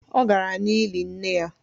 Ọ gara n’ili nne ya